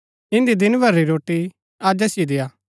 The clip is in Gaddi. इन्दी दिन भरी री रोटी अज असिओ देआ